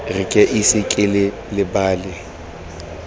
re ke ise ke lebale